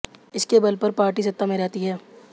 इसके बल पर पार्टी सत्ता में रहती है